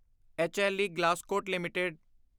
ਹਲੇ Glascot LTD